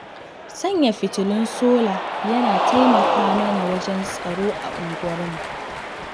Sanya fitulun sola yana taimaka mana wajen tsaro a unguwarmu.